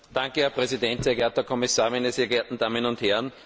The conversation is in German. Herr Präsident, sehr geehrter Herr Kommissar, meine sehr geehrten Damen und Herren!